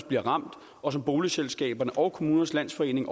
bliver ramt og som boligselskaberne og kommunernes landsforening